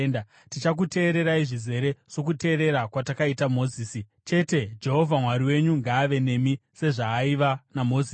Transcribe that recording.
Tichakuteererai zvizere sokuteerera kwatakaita Mozisi. Chete, Jehovha Mwari wenyu ngaave nemi sezvaaiva naMozisi.